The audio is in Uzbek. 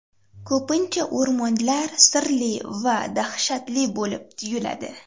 Ko‘pincha o‘rmonlar sirli va dahshatli bo‘lib tuyuladi.